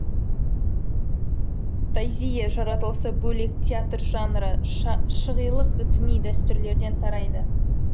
тазийе жаратылысы бөлек театр жанры шығилық діни дәстүрлерден тарайды